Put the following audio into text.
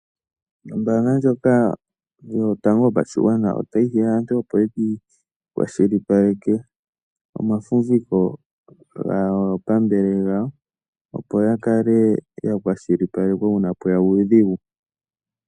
Ombaanga yotango yopashigwana otayi hiya aantu opo ye ki ikwashilipaleke omafumbiko gaapambele yawo opo ya kale ya kwashilipalekwa uuna pwe ya uudhigu.